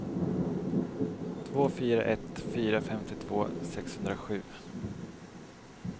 två fyra ett fyra femtiotvå sexhundrasju